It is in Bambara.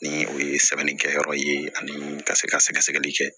Ni o ye sɛbɛnnikɛyɔrɔ ye ani ka se ka sɛgɛsɛgɛli kɛ